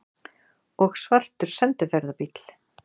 Og svartur sendiferðabíll!